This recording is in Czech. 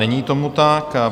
Není tomu tak.